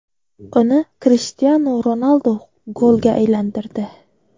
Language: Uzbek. Uni Krishtianu Ronaldu golga aylantirdi.